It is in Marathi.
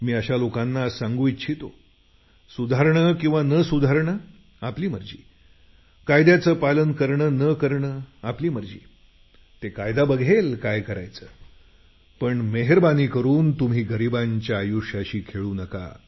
मी अशा लोकांना आज सांगू इच्छितो सुधारणे किंवा न सुधारणे आपली मर्जी कायद्याचं पालन करणं न करणं आपली मर्जी ते कायदा बघेल काय करायचं पण मेहेरबानी करून तुम्ही गरिबांच्या आयुष्याशी खेळू नका